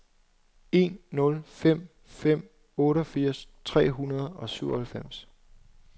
en nul fem fem otteogfirs tre hundrede og syvoghalvfems